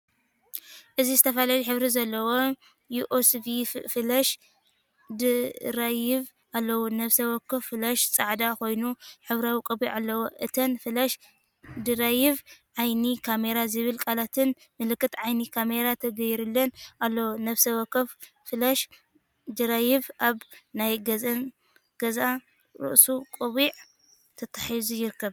እዚ ዝተፈላለየ ሕብሪ ዘለዎም ዩኤስቢ ፍላሽ ድራይቭ ኣለዉ። ነፍሲ ወከፍ ፍላሽ ጻዕዳ ኮይኑ ሕብራዊ ቆቢዕ ኣለዎ። እተን ፍላሽ ድራይቭ“ዓይኒ ካሜራ”ዝብል ቃላትን ምልክት ዓይኒ ካሜራን ተገይሩለን ኣሎ። ነፍሲ ወከፍ ፍላሽ ድራይቭ ኣብ ናይ ገዛእ ርእሱ ቆቢዕ ተተሓሒዙ ይርከብ።